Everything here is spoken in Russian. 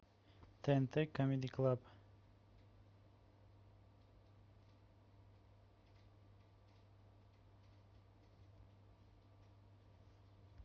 тнт камеди клаб